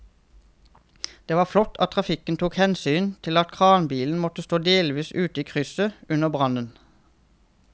Det var flott at trafikken tok hensyn til at kranbilen måtte stå delvis ute i krysset under brannen.